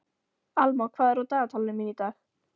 Alma, hvað er á dagatalinu mínu í dag?